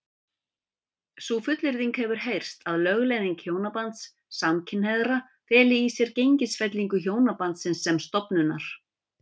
Sú fullyrðing hefur heyrst að lögleiðing hjónabands samkynhneigðra feli í sér gengisfellingu hjónabandsins sem stofnunar.